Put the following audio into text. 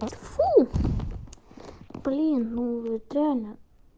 фу блин ну это реально